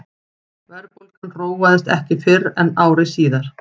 verðbólgan róaðist ekki fyrr en ári síðar